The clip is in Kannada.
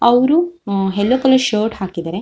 ಅವ್ರು ಉಮ್ಮ್ ಯಲ್ಲೋ ಕಲರ್ ಶರ್ಟ್ ಹಾಕಿದರೆ.